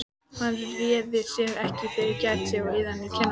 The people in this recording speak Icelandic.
Hann réði sér ekki fyrir kæti og iðaði í skinninu.